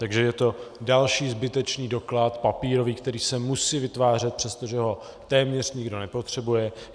Takže je to další zbytečný doklad papírový, který se musí vytvářet, přestože ho téměř nikdo nepotřebuje.